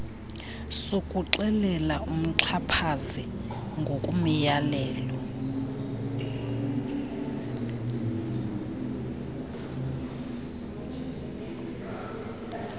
sokuxelela umxhaphazi ngomyalelo